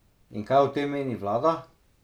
In kaj o tem meni vlada?